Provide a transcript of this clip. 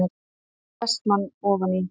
spurði Vestmann ofan í.